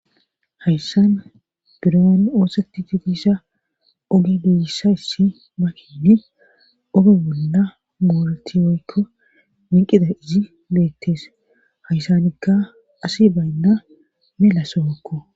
Hayssan buraan oosati ditissa oge geyissayssi mahini oge bolla boolti woykko minqida izi beettees hayssanikka asi baynna mela sookko.